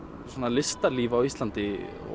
listalíf á Íslandi